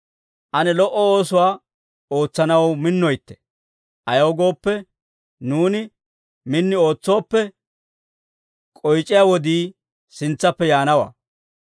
Ane lo"o oosuwaa ootsanaw minnoytte. Ayaw gooppe, nuuni min ootsooppe, k'oyc'iyaa wodii sintsappe yaanawaa.